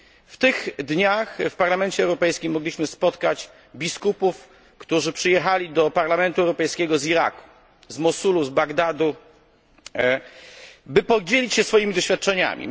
W tych dniach w Parlamencie Europejskim mogliśmy spotkać biskupów, którzy przyjechali do Parlamentu Europejskiego z Iraku, z Mosulu, z Bagdadu, by podzielić się swoimi doświadczeniami.